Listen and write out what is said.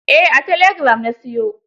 Eh a telegiram na siyo.